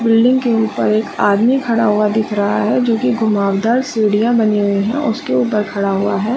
Building के ऊपर एक आदमी खड़ा हुआ दिख रहा है जो की घुमावदार सिडिया बानी हुई है और उसके ऊपर खड़ा हुआ है।